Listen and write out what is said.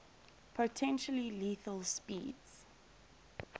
potentially lethal speeds